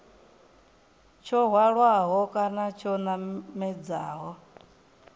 tsho hwalaho kana tsho namedzaho